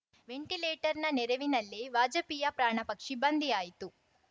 ವೆಂಟಿಲೇಟರ್‌ನ ನೆರವಿನಲ್ಲೇ ವಾಜಪೇಯಿ ಪ್ರಾಣಪಕ್ಷಿ ಬಂಧಿಯಾಯಿತು